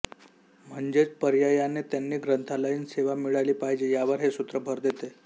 म्हणजेच पर्यायाने त्यांना ग्रंथालयीन सेवा मिळाली पाहिजे यावर हे सूत्र भर देते